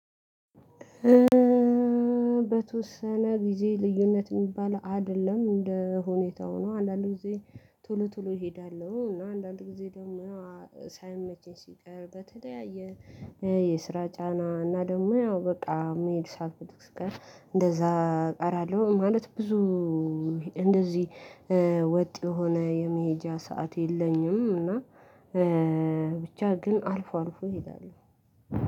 በተወሰነ ጊዜ ልዩነት የሚባል አይደለም። እንደ ሁኔታው ነው። አንዳንድ ጊዜ ቶሎ ቶሎ እሄዳለሁ። እና አንዳንድ ጊዜ ደግሞ ሳይመችኝ ሲቀር በተለያየ የስራ ጫና እና ደግሞ ያው በቃ መሄድ ሳልፈልግ ስቀር እንደዛ አቀራለሁ ማለት ብዙ እንደዚህ ወጥ የሆነ የመሄጃ ሰዓት የለኝም እና ብቻ ግን አልፎ አልፎ እሄዳለሁ።